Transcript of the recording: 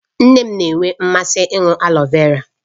Nne m na-enwe mmasị ịṅụ aloe vera